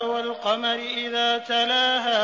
وَالْقَمَرِ إِذَا تَلَاهَا